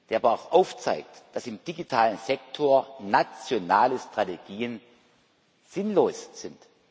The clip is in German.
der aber auch aufzeigt, dass im digitalen Sektor nationale Strategien sinnlos sind.